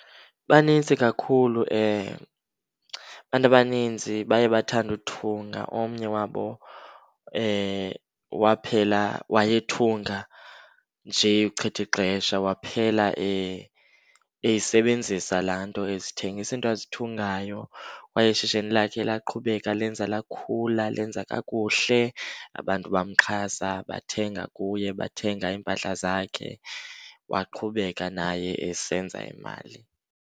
Banintsi kakhulu, abantu abanintsi baye bathande uthunga. Omnye wabo waphela, wayethunga nje ukuchitha ixesha waphela eyisebenzisa laa nto. Ezithengisa iinto azithungayo kwaye ishishini lakhe laqhubeka lenza, lakhula lenza kakuhle. Abantu bamxhasa bathenga kuye, bathenga iimpahla zakhe waqhubeka naye esenza imali.